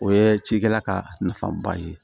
O ye cikɛla ka nafaba ye